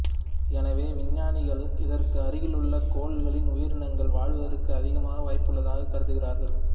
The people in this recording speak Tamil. எனவே விஞ்ஞானிகள் இதற்கு அருகிலுள்ள கோள்களில் உயிரினங்கள் வாழ்வதற்கு அதிக வாய்ப்புள்ளதாக கருதுகிறார்கள்